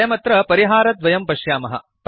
वयमत्र परिहारद्वयं पश्यामः